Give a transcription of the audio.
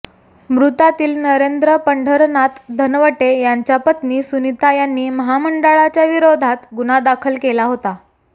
मृतातील नरेंद्र पंढरनाथ धनवटे यांच्या पत्नी सुनीता यांनी महामंडळाच्या विरोधात गुन्हा दाखल केला होता